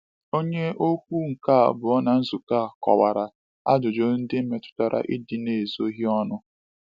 Onye okwu nke abụọ na nzukọ a kọwara ajụjụ ndị metụtara ịdị n’ezoghị ọnụ.